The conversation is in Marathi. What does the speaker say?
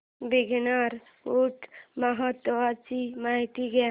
बीकानेर ऊंट महोत्सवाची माहिती द्या